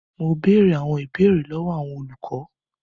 Mo bèrè àwọn ìbéèrè lọwọ àwọn olùkọ.